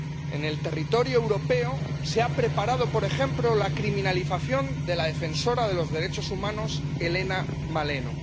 En el territorio europeo se ha preparado, por ejemplo, la criminalización de la defensora de los derechos humanos, Helena Maleno.